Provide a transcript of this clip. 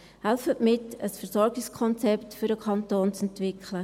Helfen Sie mit, für den Kanton ein Versorgungskonzept zu entwickeln.